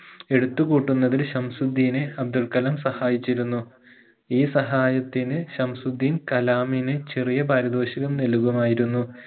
എടുത്തു കൂട്ടുന്നതിന് ശംസുദ്ധീനെ അബ്ദുൾകലാം സഹായിച്ചിരുന്നു ഈ സഹായത്തിന്ന് ശംസുദ്ധീൻ കലാമിന് ചെറിയ പാരിതോഷികം നൽകുമായിരുന്നു